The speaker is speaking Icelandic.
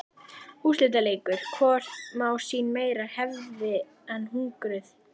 Úrslitaleikur: Hvort má sín meira hefðin eða hungrið?